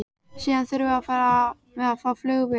Síðan þurfum við að fá flugvélar.